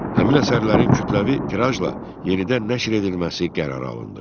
Həmin əsərlərin kütləvi tirajla yenidən nəşr edilməsi qərarı alındı.